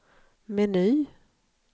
meny